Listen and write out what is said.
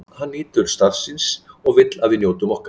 Hann nýtur starfs síns og vill að við njótum okkar.